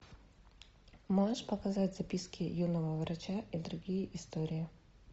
можешь показать записки юного врача и другие истории